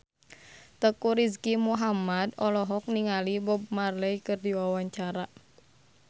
Teuku Rizky Muhammad olohok ningali Bob Marley keur diwawancara